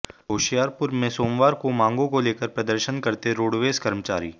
होशियारपुर में सोमवार को मांगों को लेकर प्रदर्शन करते रोडवेज कर्मचारी